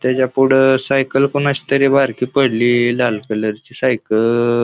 त्याच्या पुढ सायकल कोणाची तरी बारकी पडलीय लाल कलर ची सायकल --